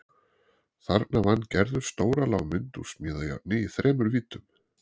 Þarna vann Gerður stóra lágmynd úr smíðajárni í þremur víddum.